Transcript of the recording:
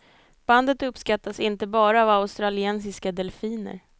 Bandet uppskattas inte bara av australienska delfiner.